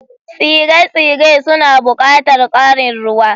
Tsire-tsire suna buƙatar ƙarin ruwa.